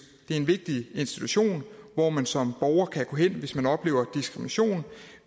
det er en vigtig institution hvor man som borger kan gå hen hvis man oplever diskrimination